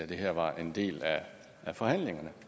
det her var en del af forhandlingerne